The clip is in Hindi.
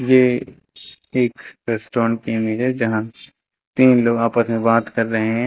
ये एक रेस्टोरेंट की इमेज है जहां तीन लोग आपस में बात कर रहे हैं।